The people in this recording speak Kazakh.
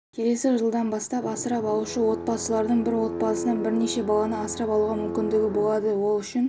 келесі жылдан бастап асырап алушы отбасылардың бір отбасынан бірнеше баланы асырап алуға мүмкіндігі болады ол үшін